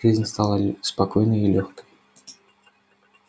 жизнь стала спокойной и лёгкой